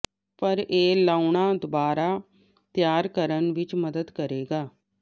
ਪਰ ਇਹ ਲਾਉਣਾ ਦੁਬਾਰਾ ਤਿਆਰ ਕਰਨ ਵਿੱਚ ਮਦਦ ਕਰੇਗਾ